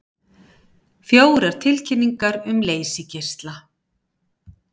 Fjórar tilkynningar um leysigeisla